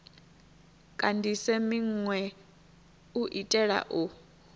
kandise minwe u itela u